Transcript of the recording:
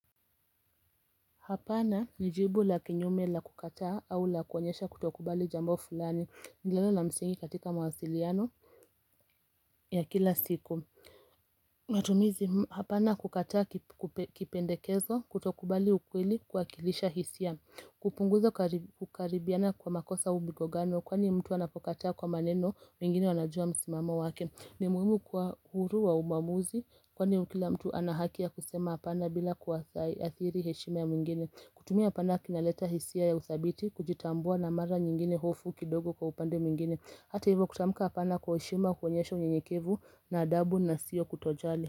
Hapana ni jibu la kinyume la kukataa au la kuonyesha kutokubali jambo fulani ni neno la msingi katika mawasiliano ya kila siku matumizi hapana kukataa kipendekezo kutokubali ukweli kuwakilisha hisia hupunguza kukaribiana kwa makosa au migogano kwani mtu anapokataa kwa maneno wengine wanajua msimamo wake ni muhimu kuwa huru wa umamuzi kwani ukila mtu anahaki ya kusema apana bila kuwa thai athiri heshima ya mwingine kutumia hapana kinaleta hisia ya uthabiti kujitambua na mara nyingine hofu kidogo kwa upande mwingine Hata hivyo kutamuka apana kwa heshima kuonyesha unyenyekevu na adabu na sio kutojali.